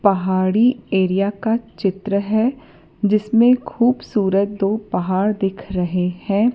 पहाड़ी एरिया का चित्र है जिसमें खूबसूरत दो पहाड़ दिख रहे हैं।